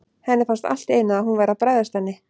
Henni fannst allt í einu að hún væri að bregðast henni.